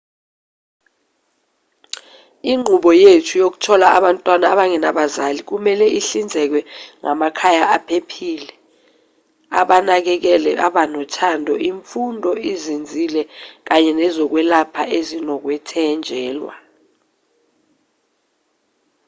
inqubo yethu yokuthola abantwana abangenabazali kumelwe ihlinzeke ngamakhaya aphephile abanakekeli abanothando imfundo ezinzile kanye nezokwelapha ezinokwethenjelwa